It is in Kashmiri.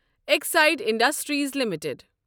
Exide industries limited